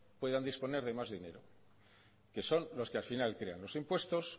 puedan disponer de más dinero que son los que al final crean los impuestos